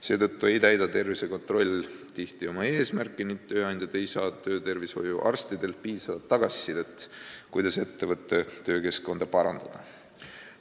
Seetõttu ei täida tervisekontroll tihti oma eesmärki ning tööandjad ei saa töötervishoiuarstidelt piisavat tagasisidet, kuidas ettevõtte töökeskkonda parandada.